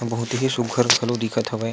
बहुत ही सुग्घर घलो दिखत हवय।